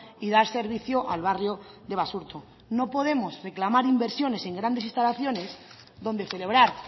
y dar servicio al barrio de basurto no podemos reclamar inversiones en grandes instalaciones donde celebrar